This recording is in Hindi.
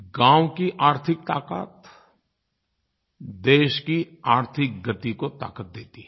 गाँव की आर्थिक ताक़त देश की आर्थिक गति को ताक़त देती है